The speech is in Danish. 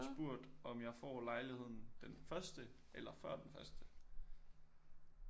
Og spurgt om jeg får lejligheden den første eller før den første